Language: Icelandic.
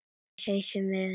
Húsin voru horfin sjónum.